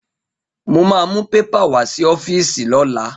Mo ma mú pépà wá sí ọ́fíìsì lọ́la